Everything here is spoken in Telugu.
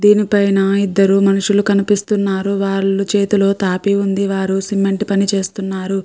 దాని పైన ఇద్దరు మనుషులు కనిపిస్తున్నారు. వాళ్ళ చేతిలో తాపి ఉంది. వాళ్ళు సిమెంట్ పని చేస్తున్నారు.